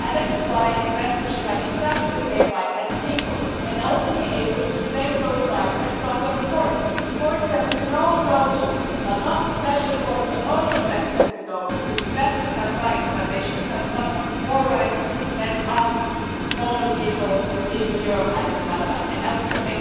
That is why investors should have exactly the same rights as people and also be able to claim those rights before the courts courts that we can all go to, but not special courts where only investors can go, because investors have rights but they should have not have more rights than us normal people, the people in Europe and in Canada and elsewhere.